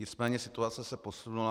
Nicméně situace se posunula.